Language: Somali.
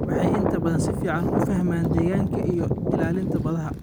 waxay inta badan si fiican u fahmaan deegaanka iyo ilaalinta badda.